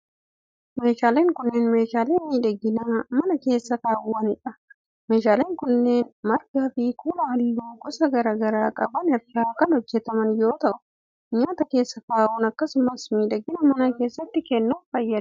Meeshaaleen kunneen, meeshaalee miidhaginaa mana keessa kaawwamanii dha. Meeshaaleen kunneen margaa fi kuula haalluu gosa garaa garaa qaban irraa kan hojjataman yoo ta'u, nyaata keessa kaa'uuf akkasumas miidhagina mana keessatti kennuuf fayyada.